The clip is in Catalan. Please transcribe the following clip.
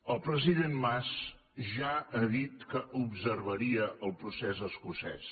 el president mas ja ha dit que observaria el procés escocès